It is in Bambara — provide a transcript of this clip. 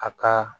A ka